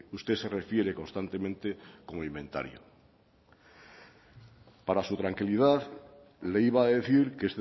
usted se refiere constantemente con inventario para su tranquilidad le iba a decir que